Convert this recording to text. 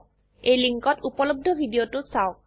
এই লিঙ্কত উপলব্ধ ভিডিওটো চাওক